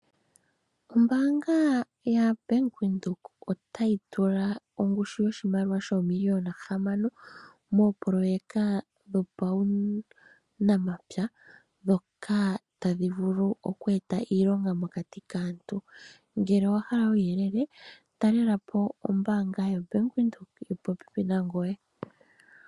Ombaanga ya bank Windhoek otayi tula ongushu yoshimaliwa shomiliyona hamano mopoleya dhuunamapya ndhoka tadhi vulu oku e ta iilonga mokati koshigwana. kuuyelele wagwedhwapo ta lela po ombaanga yobank Windhoek yili popi nangoye.